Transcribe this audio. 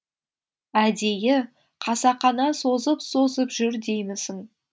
әдейі қасақана созып созып жүр деймісің